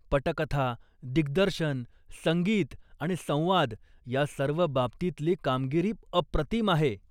पटकथा, दिग्दर्शन, संगीत आणि संवाद या सर्व बाबतीतली कामगिरी अप्रतिम आहे.